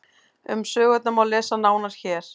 um sögurnar má lesa nánar hér